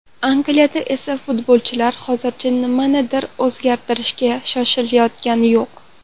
Angliyada esa futbolchilar hozircha nimanidir o‘zgartirishga shoshilayotgani yo‘q.